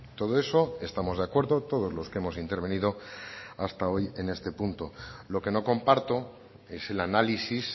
todo eso estamos de acuerdo todos los que hemos intervenido hasta hoy en este punto lo que no comparto es el análisis